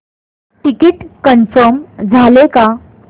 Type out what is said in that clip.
ticket confirm झाले का